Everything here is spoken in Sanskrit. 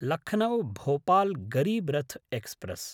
लखनौ–भोपाल् गरीब् रथ् एक्स्प्रेस्